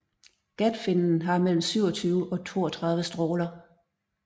Gatfinnen har mellem 27 og 32 stråler